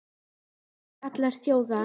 Könum síst allra þjóða!